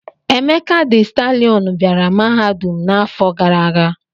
Emeka dị stalịọn bịara mahadum m n'afọ gara aga.